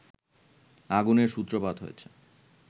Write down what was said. আগুনের সূত্রপাত হয়েছে